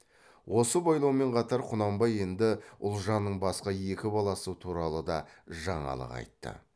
осы байлаумен қатар құнанбай енді ұлжанның басқа екі баласы туралы да жаңалық айтты